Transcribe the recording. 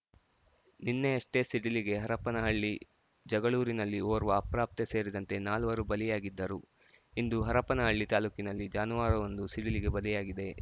ನಿನ್ನೆಯಷ್ಟೇ ಸಿಡಿಲಿಗೆ ಹರಪನಹಳ್ಳಿ ಜಗಳೂರಿನಲ್ಲಿ ಓರ್ವ ಅಪ್ರಾಪ್ತೆ ಸೇರಿದಂತೆ ನಾಲ್ವರು ಬಲಿಯಾಗಿದ್ದರು ಇಂದು ಹರಪನಹಳ್ಳಿ ತಾಲೂಕಿನಲ್ಲಿ ಜಾನುವಾರುವೊಂದು ಸಿಡಿಲಿಗೆ ಬಲಿಯಾಗಿದೆ